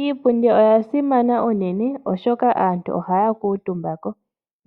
Iipundi oya simana uunene, oshoka aantu ohaya kuutumba ko.